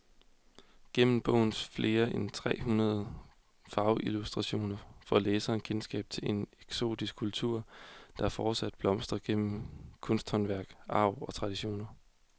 Gennem bogens flere end tre hundrede farveillustrationer får læseren kendskab til en eksotisk kultur, der fortsat blomstrer gennem kunsthåndværk, arv og traditioner.